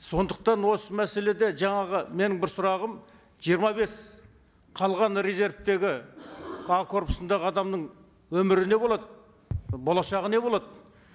сондықтан осы мәселеде жаңағы менің бір сұрағым жиырма бес қалған резервтегі а корпусындағы адамның өмірі не болады болашағы не болады